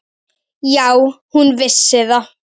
Já, hún vissi það.